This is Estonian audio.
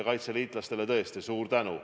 Kaitseliitlastele tõesti suur tänu.